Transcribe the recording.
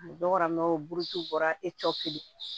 Dɔw bɔra mɛ o buruti bɔra e cɔ kelen